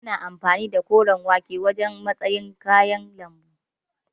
Ana amfani da koren wake a matsayin kayan lambu.